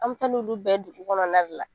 An bɛ taa n'olu bɛɛ ye dugu kɔnɔna la